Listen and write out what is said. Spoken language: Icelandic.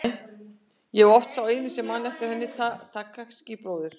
Ég er oft sá eini sem man eftir henni og Takashi bróðir.